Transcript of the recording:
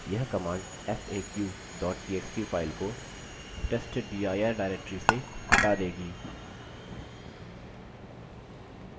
यह command faq txt file को/testdir directory से हटा देगी